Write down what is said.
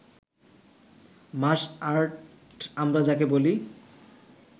মাস art আমরা যাকে বলি